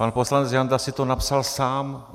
Pan poslanec Janda si to napsal sám.